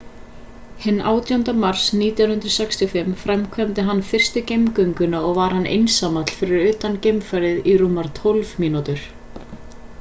hinn 18. mars 1965 framkvæmdi hann fyrstu geimgönguna og var hann einsamall fyrir utan geimfarið í rúmar tólf mínútur